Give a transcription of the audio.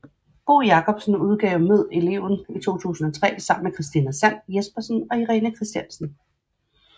Bo Jacobsen udgav Mød eleven i 2003 sammen med Christina Sand Jespersen og Irene Christiansen